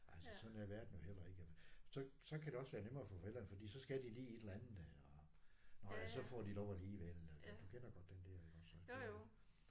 Altså sådan er verden jo heller ikke så så kan det også være nemmere for forældrene fordi så skal de lige et eller andet og nåh ja så får de lige lov alligevel og du kender godt den der iggås og det